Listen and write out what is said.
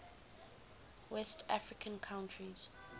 west african countries